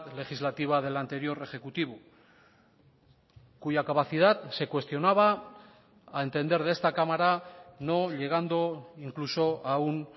legislativa del anterior ejecutivo cuya capacidad se cuestionaba a entender de esta cámara no llegando incluso a un